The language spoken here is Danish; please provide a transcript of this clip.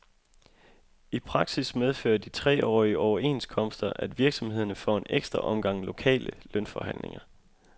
I praksis medfører de treårige overenskomster, at virksomhederne får en ekstra omgang lokale lønforhandlinger.